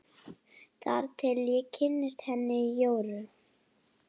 Þar til ég kynntist henni Jóru.